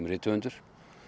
rithöfundur